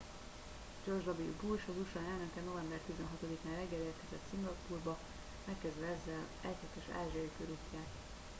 george w bush az usa elnöke november 16 án reggel érkezett szingapúrba megkezdve ezzel egyhetes ázsiai körútját